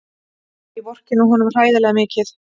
Ég vorkenni honum hræðilega mikið.